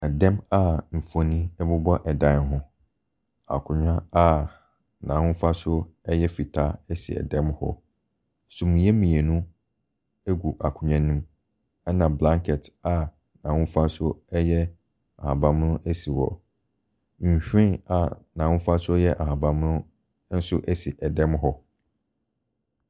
Ɛda mu a mfoni bobɔ dan ho. Akonnwa a n'ahofasuo si dan mu hɔ. Sumiiɛ mmienu gu akonnua no mu. Ɛna blankɛt a ahofasuo ahabanmono esi hɔ. Nhwiren a n'ahofasuo yɛ ahaban mono nso si dan mu hɔ.